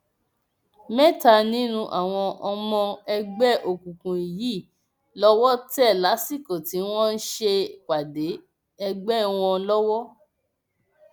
mẹta nínú àwọn ọmọ ẹgbẹ òkùnkùn yìí lowó tẹ lásìkò tí wọn ń ṣèpàdé ẹgbẹ wọn lọwọ